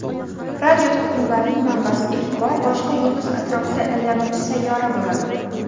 radioto‘lqinlarning manbasi ilk bor boshqa yulduz atrofida aylanuvchi sayyora bo‘ladi.